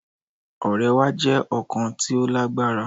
Ọrẹ wa jẹ ọkan ti o lagbara